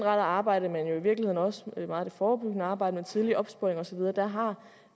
arbejde men jo i virkeligheden også meget det forebyggende arbejde med tidlig opsporing og så videre der har